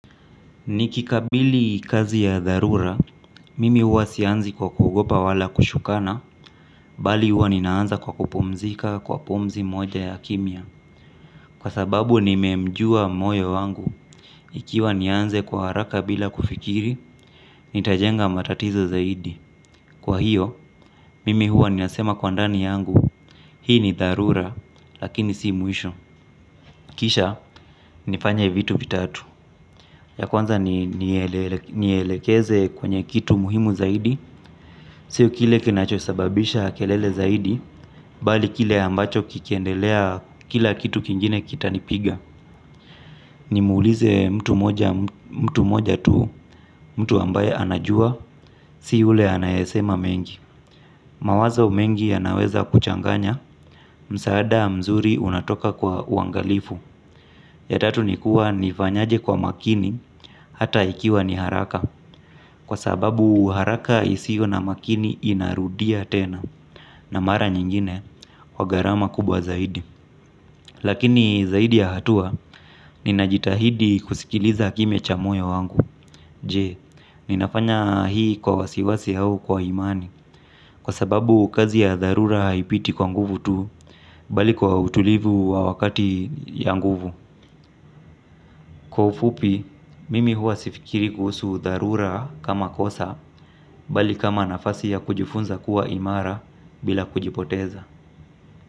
Nikikabili kazi ya dharura, mimi huwa sianzi kwa kuogopa wala kushukana, bali huwa ninaanza kwa kupumzika kwa pumzi moja ya kimya. Kwasababu nimemjua moyo wangu, ikiwa nianze kwa haraka bila kufikiri, nitajenga matatizo zaidi. Kwahiyo, mimi hua ninasema kwa ndani yangu, hii ni dharura, lakini si mwisho. Kisha, nifanye vitu vitatu, ya kwanza nielekeze kwenye kitu muhimu zaidi, sio kile kinachosababisha kelele zaidi, bali kile ambacho kikiendelea kila kitu kingine kitanipiga. Nimuulize mtu moja mtu moja tu mtu ambaye anajua, si yule anayesema mengi. Mawazo mengi yanaweza kuchanganya, msaada mzuri unatoka kwa uangalifu. Ya tatu nikuwa nifanyaje kwa makini hata ikiwa ni haraka kwa sababu haraka isiyo na makini inarudia tena. Na mara nyingine kwa gharama kubwa zaidi. Lakini zaidi ya hatua ninajitahidi kusikiliza kimya cha moyo wangu. Je, ninafanya hii kwa wasiwasi au kwa imani kwasababu kazi ya dharura haipiti kwa nguvu tu. Bali kwa utulivu wa wakati ya nguvu. Kwa ufupi, mimi huwa sifikiri kuhusu udharura kama kosa, bali kama nafasi ya kujifunza kuwa imara bila kujipoteza.